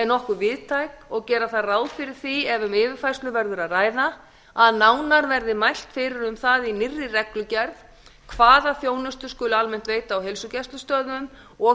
er nokkuð víðtæk og gera þarf ráð fyrir því ef um yfirfærslu verður að ræða að nánar verði mælt fyrir um það í nýrri reglugerð hvaða þjónustu skuli almennt veita á heilsugæslustöðvum og